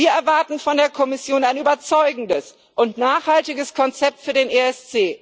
Wir erwarten von der Kommission ein überzeugendes und nachhaltiges Konzept für den ESC.